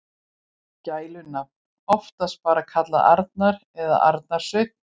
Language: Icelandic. Gælunafn: Oftast bara kallaður Arnar eða Arnar Sveinn.